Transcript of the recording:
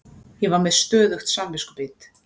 Ég var með stöðugt samviskubit.